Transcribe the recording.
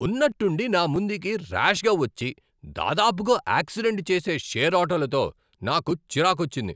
ఉన్నట్టుండి నా ముందుకి ర్యాష్గా వచ్చి దాదాపుగా ఆక్సిడెంట్ చేసే షేర్ ఆటోలతో నాకు చిరాకొచ్చింది.